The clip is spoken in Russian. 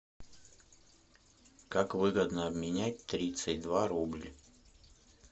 как выгодно обменять тридцать два рубль